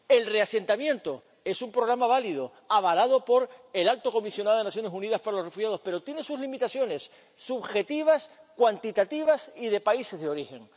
sí sola. El reasentamiento es un programa válido, avalado por el Alto Comisionado de Naciones Unidas para los Refugiados, pero tiene sus limitaciones subjetivas, cuantitativas y de países